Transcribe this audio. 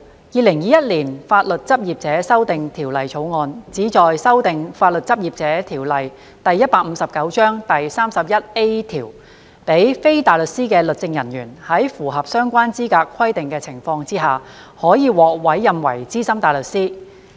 《2021年法律執業者條例草案》旨在修訂《法律執業者條例》第 31A 條，讓非大律師的律政人員在符合相關資格規定的情況下，可獲委任為資深大律師。